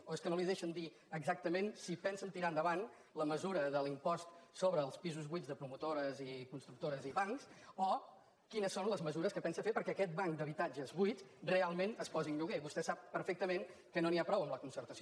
o és que no li deixen dir exactament si pensen tirar endavant la mesura de l’impost sobre els pisos buits de promotores i constructores i bancs o quines són les mesures que pensa fer perquè aquest banc d’habitatges buits realment es posi en lloguer vostè sap perfectament que no n’hi ha prou amb la concertació